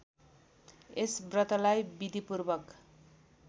यस व्रतलाई विधिपूर्वक